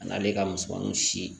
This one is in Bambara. A n'ale ka musomaninw si